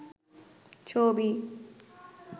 ছবি